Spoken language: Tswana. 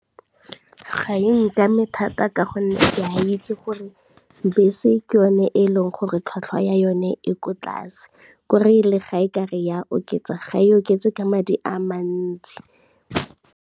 Ga e nkame mathata ka gonne ke a itse gore bese ke yone e leng gore tlhwatlhwa ya yone e ko tlase, kore le ga e ka re e a oketsa ga e oketse ka madi a mantsi.